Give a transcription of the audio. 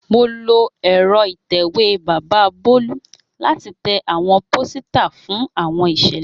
Mo lo ẹ́rọ ìtẹ̀wé bàbà Bolu lati tẹ awọn posita fun awọn iṣẹlẹ.